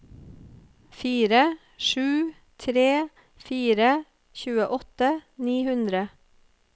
fire sju tre fire tjueåtte ni hundre